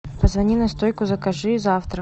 позвони на стойку закажи завтрак